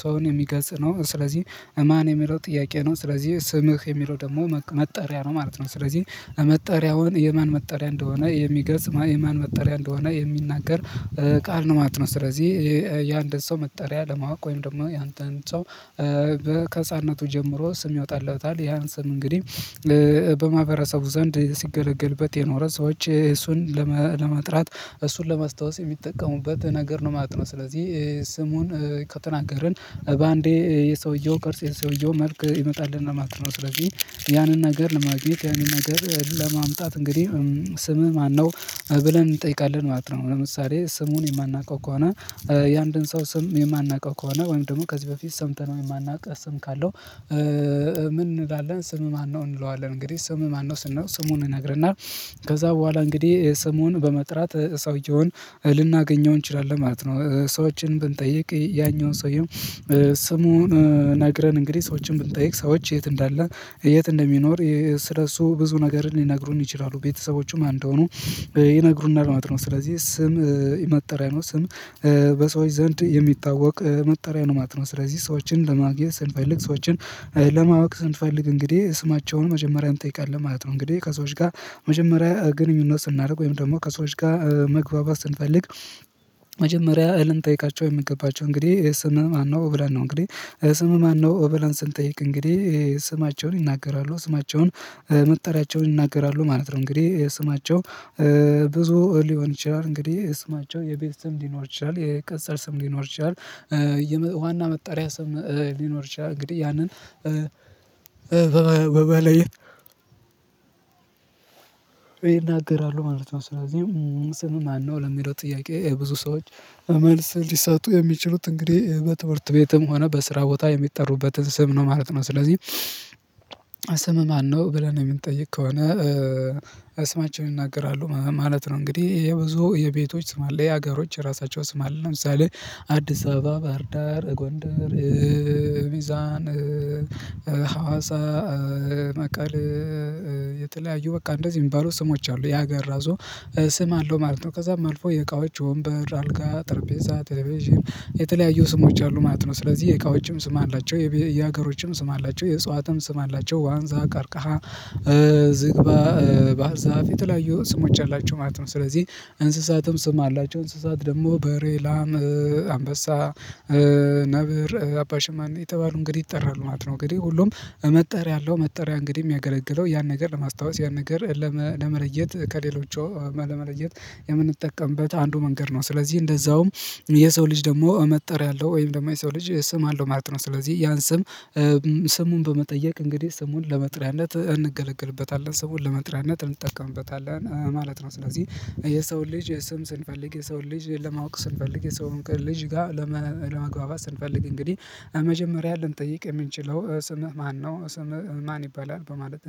ሰውን የሚገልጽ ነው። ስለዚህ እማን የሚለው ጥያቄ ነው። ስለዚህ ስምህ የሚለው ደግሞ መጠሪያ ነው ማለት ነው። ስለዚህ መጠሪያውን የማን መጠሪያ እንደሆነ የሚገልጽ የማን መጠሪያ እንደሆነ የሚናገር ቃል ነው ማለት ነው። ስለዚህ ያንድን ሰው መጠሪያ ለማወቅ ወይም ደግሞ ያንተን ሰው በከህፃነቱ ጀምሮ ስም ይወጣለታል ያን ስም እንግዲህ በማህበረሰቡ ዘንድ ሲገለገልበት የኖረ ሰዎች እሱን ለመጥራት እሱን ለማስታወስ የሚጠቀሙበት ነገር ነው። ማለትነው ስለዚህ ስሙን ከተናገርን በአንዴ የሰውየው ቅርጽ የሰውየው መልክ ይመጣልና ማለት ነው። ስለዚህ ያንን ነገር ለማግኘት ያንን ነገር ለማምጣት እንግዲህ ስምህ ማነው ብለን እንጠይቃለን ማለት ነው። ለምሳሌ ስሙን የማናውቀው ከሆነ የአንድን ሰው ስም የማናውቀው ከሆነ ወይም ደግሞ ከዚህ በፊት ሰምተነው ማናውቅ ስም ካለው ምን እንላለን ስምህ ማነው እንለዋለን። እንግዲህ ስም ማነው ስንል ስሙን እነግርና ከዛ በኋላ እንግዲህ ስሙን በመጥራት ሰውየውን ልናገኘው እንችላለን ማለት ነው። ሰዎችን ብንጠይቅ ያኛውን ሰውየው ስሙን ነግረን እንግዲህ ሰዎችን ብንጠይቅ ሰዎች የት እንዳለ የት እንደሚኖር ስለሱ ብዙ ነገርን ሊነግሩን ይችላሉ። ቤተሰቦቹም ማን እንደሆኑ ይነግሩናል ማለት ነው። ስለዚህ ስም የመጠሪያ ነው ስም በሰዎች ዘንድ የሚታወቅ መጠሪያ ነው ማት ነው። ስለዚህ ሰዎችን ለማግኘት ስንፈልግ ሰዎችን ለማወቅ ስንፈልግ እንግዲህ ስማቸውን መጀመሪያ እንጠይቃለን ማለት ነው። እንግዲህ ከሰዎች ጋር መጀመሪያ ግንኙነት ስናደርግ ወይም ደግሞ ከሰዎች ጋር መግባባት ስንፈልግ መጀመሪያ ልንጠይቃቸው የምገባቸው እንግዲህ ስም ማነው ብለን ነው። እንግዲህ ስምህ ማነው ብለን ስንጠይቅ እንግዲህ ስማቸውን ይናገራሉ ስማቸውን መጠሪያቸውን ይናገራሉ ማለት ነው። እንግዲህ የስማቸው ብዙ ሊሆን ይችላል እንግዲህ የስማቸው የቤት ስም ሊኖር ይችላል የቅጽል ስም ሊኖር ይችላል። የዋና መጣሪያ ስም ሊኖር ይችላል እንግዲህ ያንን በበላይ ይናገራሉ ማለት ነው። ስለዚህ ስምህ ማነው ለሚለው ጥያቄ ብዙ ሰዎች መልስ ሊሰጡ የሚችሉት እንግዲህ በትምህርት ቤትም ሆነ በስራ ቦታ የሚጠሩበትን ስም ነው ማለት ነው። ስለዚህ ስምህ ማነው ብለን ምንጠይቅ ከሆነ ስማቸውን ይናገራሉ ማለት ነው። እንግዲህ የብዙ የቤቶች ስም አለ የሀገሮች የራሳቸው ስም አለ ለምሳሌ አዲስ አበባ ባህር ዳር ጎንደር ሚዛን ሀዋሳ መቀሌ የተለያዩ በቃ እንደዚህ የሚባሉ ስሞች አሉ። ያገር ራሱ ስም አለው ማለት ነው። ከዛም አልፎ የእቃዎች ወንበር አልጋ ጠርጴዛ ቴሌቪዥን የተለያዩ ስሞች አሉ ማለት ነው። ስለዚህ የእቃዎችም ስም አላቸው። የሀገሮችም ስም አላቸው የእጽዋትም ስም አላቸው ዋንዛ ቀርቃሃ ዝግባ ባዛ የተለያየው ስሞች አላቸው ማለት ነው። ስለዚህ እንስሳትም ስም አላቸው። እንስሳት ደግሞ በሬላም አንበሳ ነብር አባ ሽማኔ እየተባሉ እንግዲህ ይጠራሉ ማለት ነው። እንግዲህ ሁሉም መጠሪያ አለው። መጠሪያ እንግዲህ ሚያገለግለው ያን ነገር ለማስታወስ ያን ነገር ለመለየት ከሌሎች ለመለየት የምንጠቀምበት አንዱ መንገድ ነው። ስለዚህ እንደዛውም የሰው ልጅ ደግሞ መጠሪያ አለው። ወይም ደግሞ የሰው ልጅ ስም አለው ማለት ነው። ስለዚህ ያን ስም ስሙን በመጠየቅ እንግዲህ ስሙን ለመጥርያነት እንገለግልበታለን ሰውን ለመጥሪያነት እንጠቀምበታለን ማለት ነው። ስለዚህ የሰውን ልጅ የስም ስንፈልግ የሰውን ልጅ ለማወቅ ስንፈልግ የሰውን ልጅ ጋር ለመግባባት ስንፈልግ እንግዲህ መጀመሪያ ልንጠይቅ የምንችለው ስምህ ማነው ስምህ ማን ይባላል በማለት